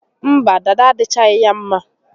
Mba, dada adịchaghị ya mma